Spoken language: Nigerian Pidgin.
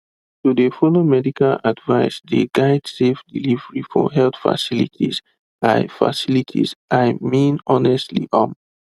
to de follow medical advice dey guide safe delivery for health facilities i facilities i mean honestly um